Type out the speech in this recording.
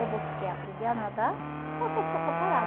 Ou você quer aprender a nadar, ou quer ficar só parada.